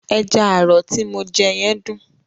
Ẹja àrọ̀ ti mo jẹ yẹn dùn.